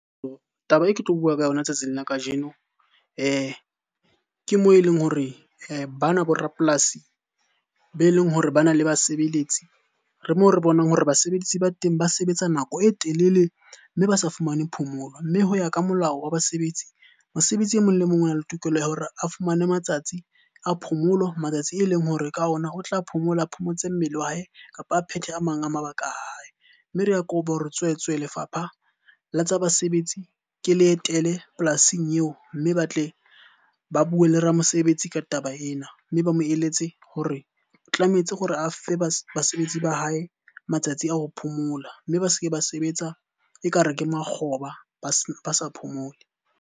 Taba e ke tlo bua ka yona tsatsing la kajeno ke moo e leng hore ba nwa bo rapolasi be leng hore bana le basebeletsi, re moo re bonang hore basebedisi ba teng ba sebetsa nako e telele mme ba sa fumane phomolo. Mme ho ya ka molao wa basebetsi, mosebetsi emong le emong o na le tokelo ya hore a fumane matsatsi a phomolo. Matsatsi e leng hore ka ona o tla phomola, a phomotse mmele wa hae kapa a phethe a mang a mabaka a hae. Mme re kopa hore tswetswe lefapha la tsa basebetsi ke le etele polasing eo, mme ba tle ba bue le ramosebetsi ka taba ena. Mme ba mo eletse hore tlametse hore a fe basebetsi ba hae matsatsi a ho phomola, mme ba se ke ba sebetsa ekare ke makgoba ba sa phomole.